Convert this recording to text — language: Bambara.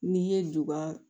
N'i ye duba